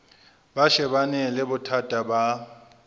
ba shebane le bothata ba